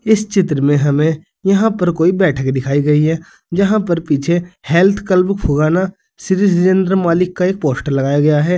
इस चित्र में हमें यहां पर कोई बैठक दिखाई गई है यहां पर पीछे हेल्थ क्लब फुगाना श्री जितेंद्र मलिक का एक पोस्टर लगाया हुआ है।